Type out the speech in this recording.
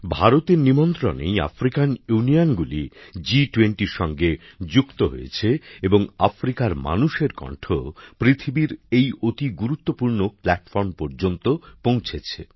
ভারতের নিমন্ত্রণেই African Union জি২০র সঙ্গে যুক্ত হয়েছে এবং আফ্রিকার মানুষের কণ্ঠ পৃথিবীর এই অতি গুরুত্বপূর্ণ প্ল্যাটফর্ম পর্যন্ত পৌঁছেছে